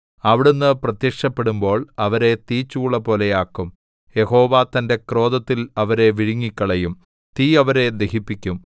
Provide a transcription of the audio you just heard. അവിടുന്ന് പ്രത്യക്ഷപ്പെടുമ്പോൾ അവരെ തീച്ചൂളപോലെയാക്കും യഹോവ തന്റെ ക്രോധത്തിൽ അവരെ വിഴുങ്ങിക്കളയും തീ അവരെ ദഹിപ്പിക്കും